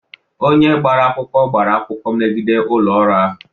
Onye gbara akwụkwọ gbara akwụkwọ megide ụlọ ọrụ ahụ.